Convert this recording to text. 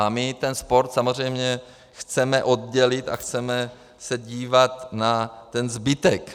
A my ten sport samozřejmě chceme oddělit a chceme se dívat na ten zbytek.